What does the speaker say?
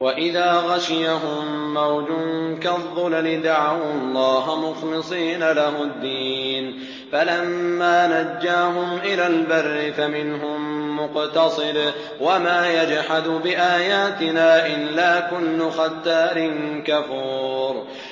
وَإِذَا غَشِيَهُم مَّوْجٌ كَالظُّلَلِ دَعَوُا اللَّهَ مُخْلِصِينَ لَهُ الدِّينَ فَلَمَّا نَجَّاهُمْ إِلَى الْبَرِّ فَمِنْهُم مُّقْتَصِدٌ ۚ وَمَا يَجْحَدُ بِآيَاتِنَا إِلَّا كُلُّ خَتَّارٍ كَفُورٍ